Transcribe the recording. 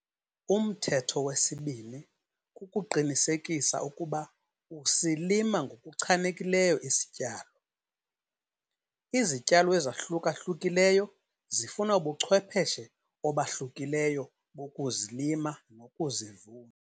Umthetho wesibini kukuqinisekisa ukuba usilima ngokuchanekileyo isityalo. Izityalo ezahluka-hlukileyo zifuna ubuchwepheshe obahlukileyo bokuzilima nokuzivuna.